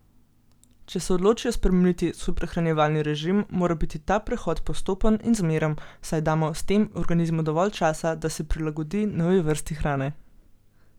Če se odločijo spremeniti svoj prehranjevalni režim, mora biti ta prehod postopen in zmeren, saj damo s tem organizmu dovolj časa, da se prilagodi novi vrsti hrane.